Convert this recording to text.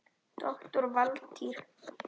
Doktor Valtýr